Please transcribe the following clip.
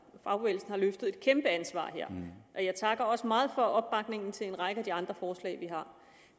fagbevægelsen har løftet et kæmpe ansvar her jeg takker også meget for opbakningen til en række af de andre forslag vi har